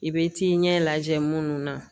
I bɛ t'i ɲɛ lajɛ munnu na